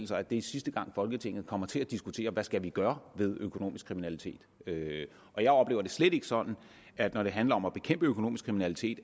sig at det er sidste gang folketinget kommer til at diskutere hvad vi skal gøre ved økonomisk kriminalitet og jeg oplever det slet ikke sådan at når det handler om at bekæmpe økonomisk kriminalitet